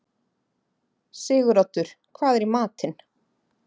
Siguroddur, hvað er í matinn?